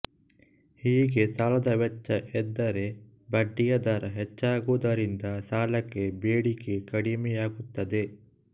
ಹೀಗೆ ಸಾಲದ ವೆಚ್ಚ ಎಂದರೆ ಬಡ್ಡಿಯ ದರ ಹೆಚ್ಚಾಗುವುದರಿಂದ ಸಾಲಕ್ಕೆ ಬೇಡಿಕೆ ಕಡಿಮೆಯಾಗುತ್ತದೆ